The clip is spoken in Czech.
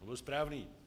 Byl správný.